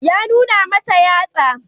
Ya nuna masa yatsa.